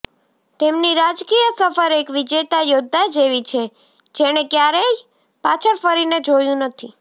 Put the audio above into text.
તેમની રાજકીય સફર એક વિજેતા યોદ્ધા જેવી છે જેણે ક્યારેય પાછળ ફરીને જોયું નથી